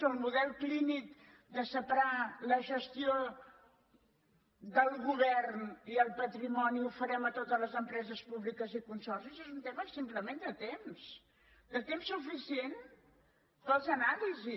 o el model clínic de separar la gestió del govern i el patrimoni el farem a totes les empreses públiques i consorcis és un tema simplement de temps de temps suficient per a l’anàlisi